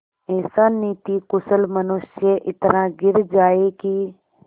ऐसा नीतिकुशल मनुष्य इतना गिर जाए कि